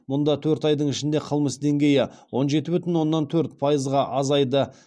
мұнда төрт айдың ішінде қылмыс деңгейі он жеті бүтін оннан төрт пайызға азайды